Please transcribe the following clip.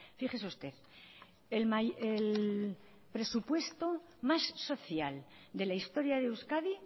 fíjese usted el presupuesto más social de la historia de euskadi